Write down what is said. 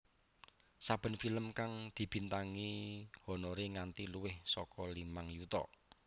Saben film kang dibintangi honoré nganti luwih saka limang yuta